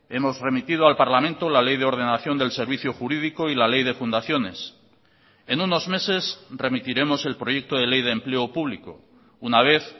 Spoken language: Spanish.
hemos remitido al parlamento la ley de ordenación del servicio jurídico y la ley de fundaciones en unos meses remitiremos el proyecto de ley de empleo público una vez